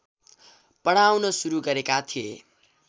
पढाउन सुरु गरेका थिए